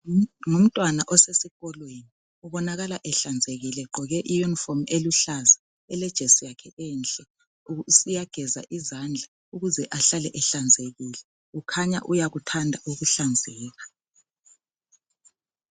Ngumntwana osesikolweni ubonakala ehlanzekile egqoke iyunifomu eluhlaza elejesi yakhe enhle uyageza izandla ukuze ahlale ehlanzekile kukhanya uyakuthanda ukuhlanzeka.